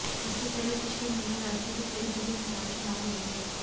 इससे पहले पिछले महीने राज्य में कई जगह निकाय चुनाव हुए थे